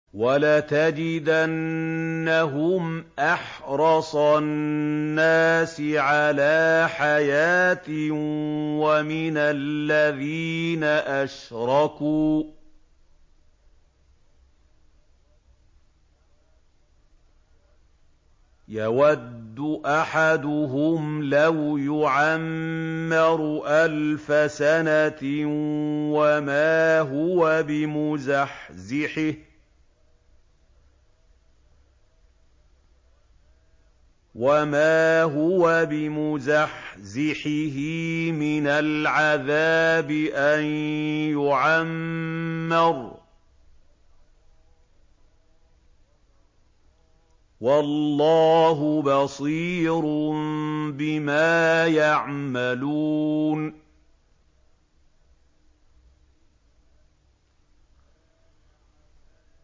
وَلَتَجِدَنَّهُمْ أَحْرَصَ النَّاسِ عَلَىٰ حَيَاةٍ وَمِنَ الَّذِينَ أَشْرَكُوا ۚ يَوَدُّ أَحَدُهُمْ لَوْ يُعَمَّرُ أَلْفَ سَنَةٍ وَمَا هُوَ بِمُزَحْزِحِهِ مِنَ الْعَذَابِ أَن يُعَمَّرَ ۗ وَاللَّهُ بَصِيرٌ بِمَا يَعْمَلُونَ